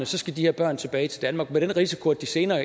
så skal de her børn tilbage til danmark med den risiko at de senere